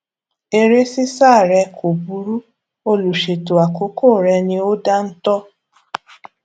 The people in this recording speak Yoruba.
eré ṣíṣá re kò burú olùṣètò àkókò rẹ ni ò dáńtọ